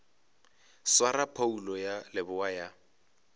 swara phoulo ya leboa ya